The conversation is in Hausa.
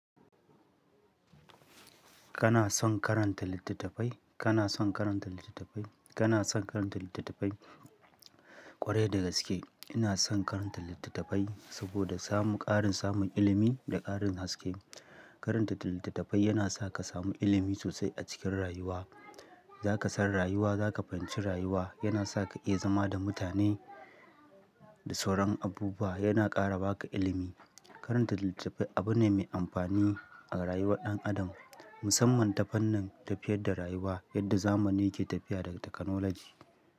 Kana son karanta littattafai? Kana son karanta littattafai? Kana son karanta littattafai? Kwarai da gaske ina son karanta littattafai saboda samun ƙarin samun ilimi da ƙarin haske. Karanta littattafai yana sa ka samu ilimi sosai a cikin rayuwa. Za ka san rayuwa, za ka fahimci rayuwa. Yana sa ka iya zama da mutane da sauran abubuwa. Yana ƙara ba ka ilimi. Karanta littattafai abu ne mai amfani a rayuwar ɗan adam, musamman ta fannin tafiyar da rayuwa yadda zamani ke tafiya da takanoloji.